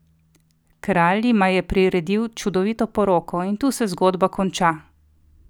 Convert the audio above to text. Kralj jima je priredil čudovito poroko, in tu se zgodba konča!